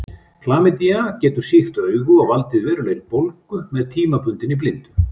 Klamydía getur sýkt augu og valdið verulegri bólgu með tímabundinni blindu.